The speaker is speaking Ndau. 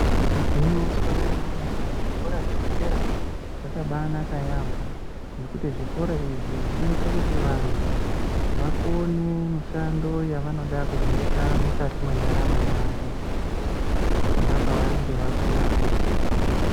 Igwinyiso remene mene kuti zvikora zvepadera zvakabanaka yambo ngekuti zvikora izvi zvinoita kuti vandu vakone mishando yavanoda kuzoita mukati mendaramo yavo pavanenge vakura.